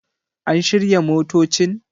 An shirya motocin?